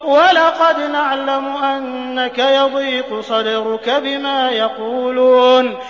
وَلَقَدْ نَعْلَمُ أَنَّكَ يَضِيقُ صَدْرُكَ بِمَا يَقُولُونَ